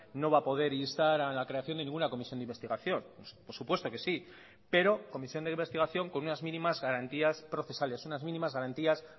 no va a poder instar a la creación de ninguna comisión de investigación por supuesto que sí pero comisión de investigación con unas mínimas garantías procesales unas mínimas garantías